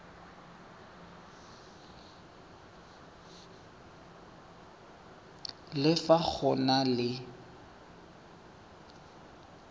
le fa go na le